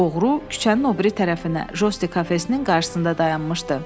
Oğru küçənin o biri tərəfinə jostin kafesinin qarşısında dayanmışdı.